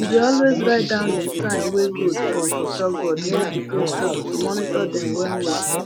we dey always write down di time wey goat born for chalkboard near di goathouse to monitor dem well well